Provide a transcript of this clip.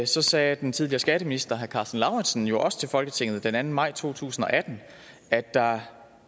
så sagde den tidligere skatteminister herre karsten lauritzen jo også til folketinget den anden maj to tusind og atten at der